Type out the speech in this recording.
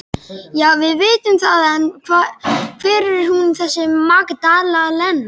Já, við vitum það en hver er hún þessi Magdalena?